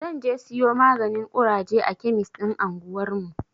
Zan je siyo maganin ƙuraje a kemis ɗin anguwarmu.